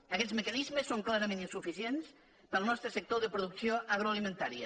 aguests mecanismes són clarament insuficients per al nostre sector de producció agroalimentària